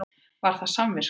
Var það samviskan?